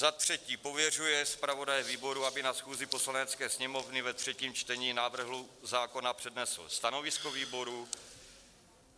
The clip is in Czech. Za třetí pověřuje zpravodaje výboru, aby na schůzi Poslanecké sněmovny ve třetím čtení návrhu zákona přednesl stanovisko výboru.